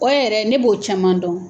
O yɛrɛ ne b'o caman dɔn.